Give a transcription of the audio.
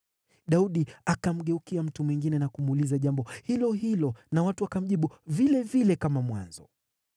Daudi akamgeukia mtu mwingine na kumuuliza jambo lilo hilo, nao watu wakamjibu vilevile kama mwanzo.